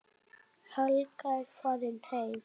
Helga er farin heim.